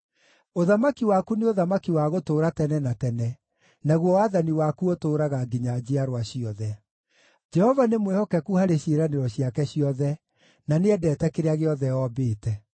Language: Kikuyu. Ũthamaki waku nĩ ũthamaki wa gũtũũra tene na tene, naguo wathani waku ũtũũraga nginya njiarwa ciothe. Jehova nĩ mwĩhokeku harĩ ciĩranĩro ciake ciothe, na nĩendete kĩrĩa gĩothe ombĩte.